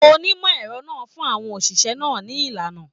Onimọ ẹrọ náà fún àwọn oṣiṣẹ náà ni ìlànà.